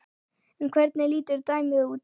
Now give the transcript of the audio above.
En hvernig lítur dæmið út?